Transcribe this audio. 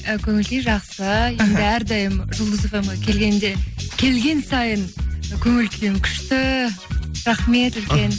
і көңіл күй жақсы іхі әрдайым жұлдыз фмге келгенде келген сайын көңіл күйім күшті рахмет үлкен